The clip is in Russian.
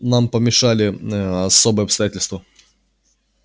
нам помешали ээ особые обстоятельства